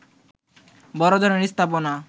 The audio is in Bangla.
বড় ধরনের স্থাপনা